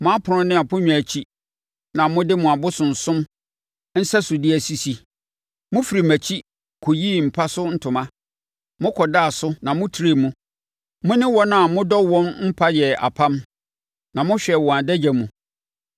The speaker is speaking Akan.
Mo apono ne aponnwa akyi na mo de mo abosonsom nsɛsodeɛ asisi. Mofirii mʼakyi kɔyii mo mpa so ntoma, mokɔdaa so na motrɛɛ mu; mo ne wɔn a modɔ wɔn mpa yɛɛ apam, na mohwɛɛ wɔn adagya mu.